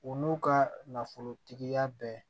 U n'u ka nafolotigiya bɛɛ